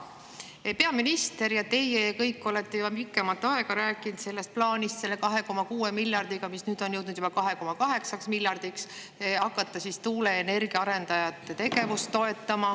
Peaminister ja teie ja kõik te olete juba pikemat aega rääkinud plaanist hakata selle 2,6 miljardiga, mis nüüd on jõudnud juba 2,8 miljardini, tuuleenergia arendajate tegevust toetama.